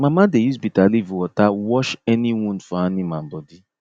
mama dey use bitterleaf water wash any wound for animal body